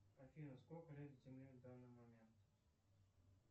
афина сколько лет земле в данный момент